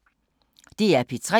DR P3